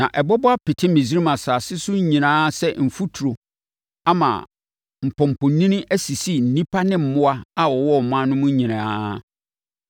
Na ɛbɛbɔ apete Misraim asase so nyinaa sɛ mfuturo ama mpɔmpɔnini asisi nnipa ne mmoa a wɔwɔ ɔman no mu nyinaa.”